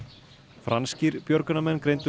franskir björgunarmenn greindu